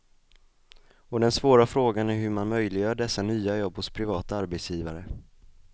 Och den svåra frågan är hur man möjliggör dessa nya jobb hos privata arbetsgivare.